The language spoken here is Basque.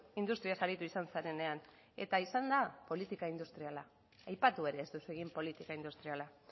industriaz aritu izan zarenean eta izan da politika industriala aipatu ere ez duzu egin politika industriala